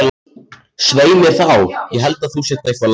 Svei mér þá, ég held að þú sért eitthvað lasinn.